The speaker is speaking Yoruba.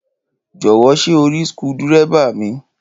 Jò̩wó̩ s̩é o rí skudé̩eré̩bà mi?